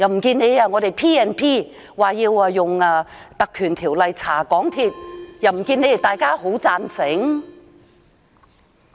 可是，當我們提出引用《立法會條例》調查港鐵公司，又不見得大家會贊成。